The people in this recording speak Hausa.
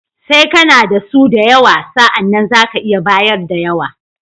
Sai kana da su da yawa, sa'anan za ka iya bayar da yawa.